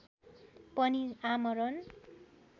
पनि आमरण